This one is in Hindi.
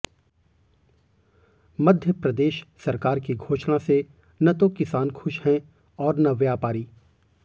मध्यप्रदेश सरकार की घोषणा से न तो किसान खुश है और न व्यापारी